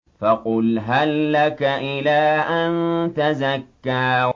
فَقُلْ هَل لَّكَ إِلَىٰ أَن تَزَكَّىٰ